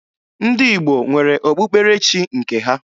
Ndị Igbo nwere okpukperechi nke ha.